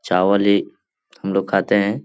चावल ही हमलोग खाते हैं।